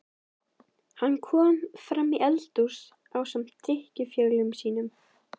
Hann kom framí eldhús ásamt drykkjufélögum sínum.